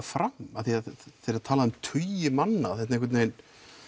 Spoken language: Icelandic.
fram af því að þegar það talað um tugi manna þetta einhvern veginn